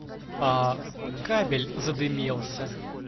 а кабель задымился